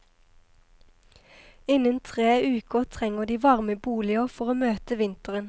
Innen tre uker trenger de varme boliger for å møte vinteren.